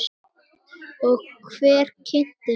Og hver kynnti þau?